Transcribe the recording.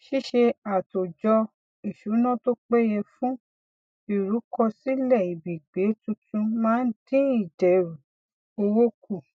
ṣíṣe àtòjọ ìsúná tó péye fún ìrúkọsílẹìbìgbé tuntun máa ń dín ìdẹrù owó kù